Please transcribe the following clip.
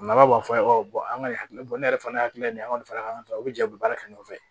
Nafa b'a fɔ an ye an ka hakili bɔ ne yɛrɛ fana hakili ye nin an ka nin fara ɲɔgɔn kan u bɛ jɛ u bɛ baara kɛ ɲɔgɔn fɛ